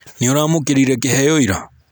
nĩũramũkĩrire kĩheo ira?